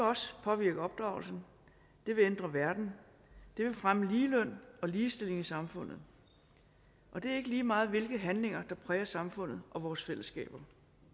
også påvirke opdragelsen det vil ændre verden det vil fremme ligeløn og ligestilling i samfundet og det er ikke lige meget hvilke handlinger der præger samfundet og vores fællesskaber